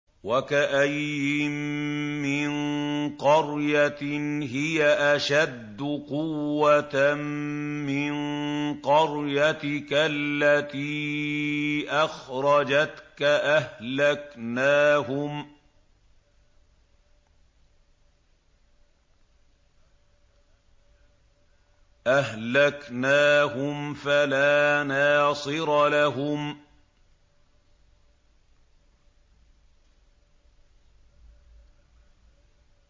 وَكَأَيِّن مِّن قَرْيَةٍ هِيَ أَشَدُّ قُوَّةً مِّن قَرْيَتِكَ الَّتِي أَخْرَجَتْكَ أَهْلَكْنَاهُمْ فَلَا نَاصِرَ لَهُمْ